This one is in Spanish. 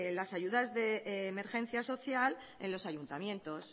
las ayudas de emergencia social en los ayuntamientos